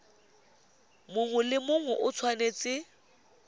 mongwe le mongwe o tshwanetse